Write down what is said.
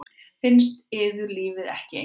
Finnst yður lífið ekki einkennilegt?